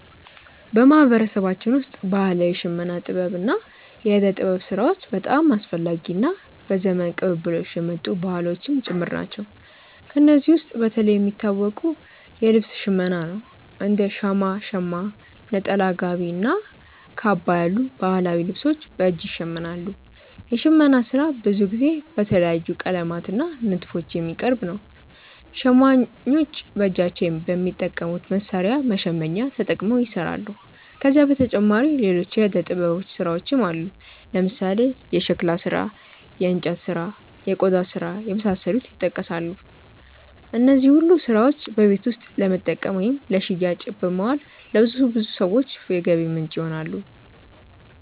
በማህበረሰባችን ውስጥ ባህላዊ የሽመና ጥበብ እና የእደ ጥበብ ስራዎች በጣም አስፈላጊ እና በዘመን ቅብብሎሽ የመጡ ባህሎችም ጭምር ናቸው። ከእነዚህ ውስጥ በተለይ የሚታወቀው የልብስ ሽመና ነው፤ እንደ ሻማ (ሸማ)፣ ነጠላ፣ ጋቢ እና ካባ ያሉ ባህላዊ ልብሶች በእጅ ይሸመናሉ። የሽመና ስራ ብዙ ጊዜ በተለያዩ ቀለማት እና ንድፎች የሚቀርብ ነው። ሸማኞች በእጃቸው በሚጠቀሙት መሣሪያ (መሸመኛ)ተጠቅመው ይሰራሉ። ከዚህ በተጨማሪ ሌሎች የእደ ጥበብ ስራዎችም አሉ፦ ለምሳሌ የሸክላ ስራ፣ የእንጨት ስራ፣ እና የቆዳ ስራ የመሳሰሉት ይጠቀሳሉ። እነዚህ ሁሉ ስራዎች በቤት ውስጥ ለመጠቀም ወይም ለሽያጭ በማዋል ለብዙ ሰዎች የገቢ ምንጭ ይሆናሉ።